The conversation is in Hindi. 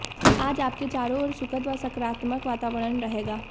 आज आपके चारों ओर सुखद व सकारात्मक वातावरण रहेगा